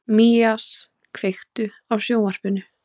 Mías, kveiktu á sjónvarpinu.